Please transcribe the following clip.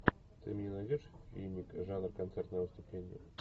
ты мне найдешь фильмик жанр концертное выступление